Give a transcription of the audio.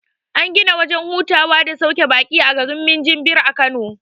An gina wajen hutawa da sauke baƙi a garin minjibir a kano